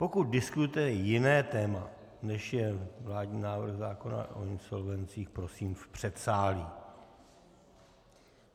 Pokud diskutujete jiné téma, než je vládní návrh zákona o insolvencích, prosím v předsálí.